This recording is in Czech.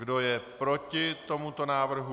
Kdo je proti tomuto návrhu?